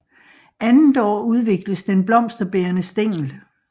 Andet år udvikles den blomsterbærende stængel